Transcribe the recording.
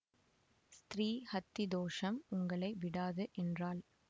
ஸ்திரீ ஹத்தி தோஷம் உங்களை விடாது என்றாள்